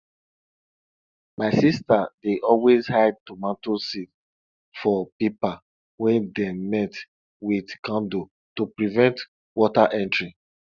my sister dey always hide tomato seed for paper wey dem melt with candle to prevent water entering